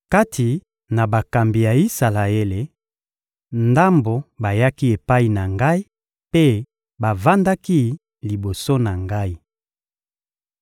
Kati na bakambi ya Isalaele, ndambo bayaki epai na ngai mpe bavandaki liboso na ngai.